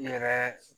Yɛrɛ